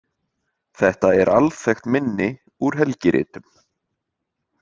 Þetta er alþekkt minni úr helgiritum.